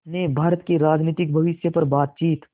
ने भारत के राजनीतिक भविष्य पर बातचीत